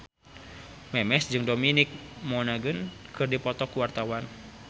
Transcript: Memes jeung Dominic Monaghan keur dipoto ku wartawan